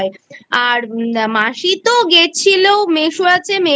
আর মাসি তো গেছিল মেসো আছে মেসো